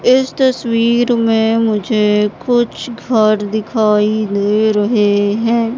इस तस्वीर में मुझे कुछ घर दिखाई दे रहे है।